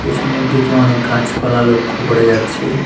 পেছনের দিকে অনেক গাছপালা লক্ষ করা যাচ্ছে।